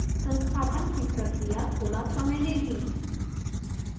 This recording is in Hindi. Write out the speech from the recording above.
संस्थापन की प्रक्रिया थोड़ा समय लेगी